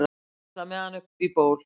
ég ætla með hann upp í ból